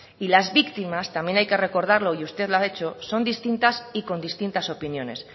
y las víctimas también hay que recordarlo y usted lo ha hecho son distintas y con distintas opiniones